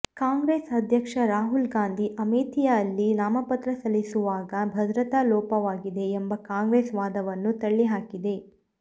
ಕಾಂಗ್ರೆಸ್ ಅಧ್ಯಕ್ಷ ರಾಹುಲ್ ಗಾಂಧಿ ಅಮೇಥಿಯಲ್ಲಿ ನಾಮಪತ್ರ ಸಲ್ಲಿಸುವಾಗ ಭದ್ರತಾ ಲೋಪವಾಗಿದೆ ಎಂಬ ಕಾಂಗ್ರೆಸ್ ವಾದವನ್ನು ತಳ್ಳಿಹಾಕಿದೆ